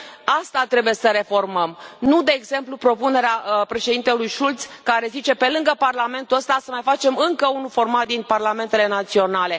Asta trebuie să reformăm, nu, de exemplu, propunerea Președintelui Schulz, care zice pe lângă Parlamentul ăsta, să mai facem încă unul, format din parlamentele naționale.